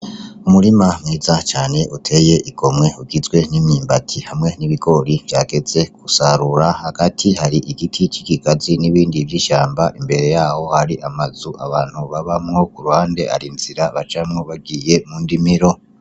Umurima mwiza cane uteye igomwe, ugizwe n'imyimbati, hamwe n'ibigori vyageze gusarura, hagati hari igiti c'ikigazi n'ibindi vy'ishamba, imbere yaho hari amazu abantu babamwo, ku ruhande hari inzira bacamwo bagiye mu ndimiro.